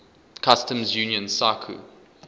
customs union sacu